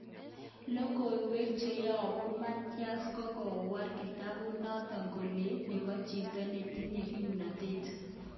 Lokoiwek cheyobu Matias kokwaror kitabut noton kole'kit nebo chito netinye komnotet.